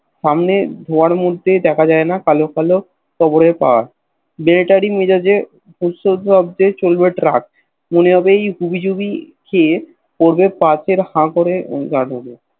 সামনে ধোয়ার মধ্যে দেখা যায়না কালো কালো কবরের পাহাড় মেলেটারী মেজাজ এ উসর্গ হল চলল ট্রাক এইভাবেই হুবি জুবি খেয়ে পাত্রে হ করে গাড়োর এ